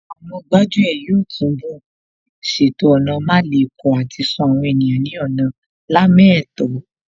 Àwọn gbájú ẹ̀ yóò túnbọ̀ ṣètò ọ̀nà málekọ̀ àti ṣọ́ àwọn ènìyàn ní ọ̀nà lámẹ́ẹ̀tọ́